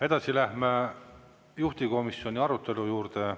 Edasi läheme juhtivkomisjoni arutelu juurde.